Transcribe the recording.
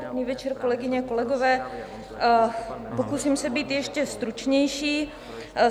Dobrý večer, kolegyně, kolegové, pokusím se být ještě stručnější.